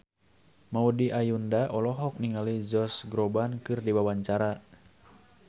Maudy Ayunda olohok ningali Josh Groban keur diwawancara